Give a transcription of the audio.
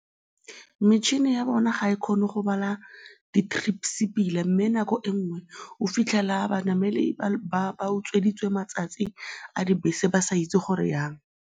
Metšhini ya bona ga e kgone go bala di-trips pila mme nako e nngwe o fitlhela banamedi ba utsweditswe matsatsi a dibese ba sa itse gore jang.